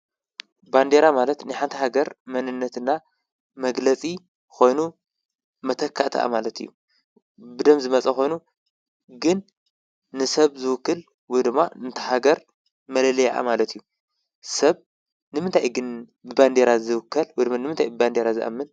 ባንዴራ ማለት ናይ ሓንተ ሃገር መንነትና መግለጺ ኾይኑ መተካእተኣ ማለት እዩ ብደም ዝመጸ ኾይኑ ግን ንሰብ ዝውክል ዉድማ ምእንተሃገር መለለየ ኣማለት እዩ ሰብ ንምንታይ ግን ብበንዴራ ዝውከል ድሚን ንምንታይ ብበንዴራ ዝኣምን?